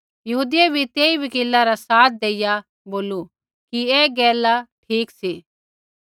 यहूदियै बी तेई वकीला रा साथ देइया बोलू कि ऐ गैला ठीक सी